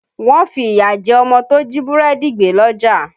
Wọ́n fi ìyà jẹ ọmọ tó jí búrẹ́dì gbé lọ́jà